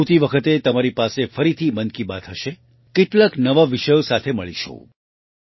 આવતી વખતે તમારી પાસે ફરીથી મન કી બાત હશે કેટલાક નવા વિષયો સાથે મળીશું